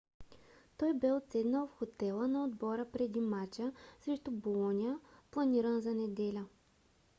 той бе отседнал в хотела на отбора преди мача срещу болоня планиран за неделя